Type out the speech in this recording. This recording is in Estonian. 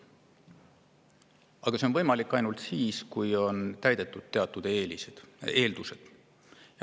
Aga see on võimalik ainult siis, kui on täidetud teatud eeldused.